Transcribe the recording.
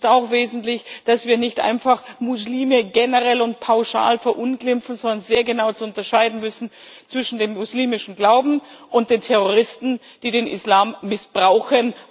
Es ist auch wesentlich, dass wir nicht einfach Muslime generell und pauschal verunglimpfen, sondern sehr genau zu unterscheiden wissen zwischen dem muslimischen Glauben und den Terroristen, die den Islam als Überschrift missbrauchen.